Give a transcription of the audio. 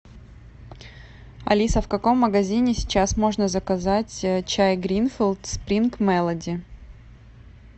алиса в каком магазине сейчас можно заказать чай гринфилд спринг мелоди